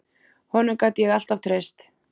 Honum gat ég alltaf treyst.